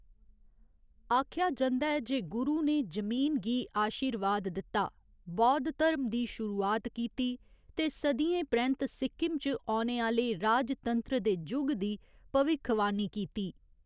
आखेआ जंदा ऐ जे गुरु ने जमीन गी आशीर्वाद दित्ता, बौद्ध धर्म दी शुरुआत कीती ते सदियें परैंत्त सिक्किम च औने आह्‌‌‌ले राजतंत्र दे जुग दी भविक्खवाणी कीती।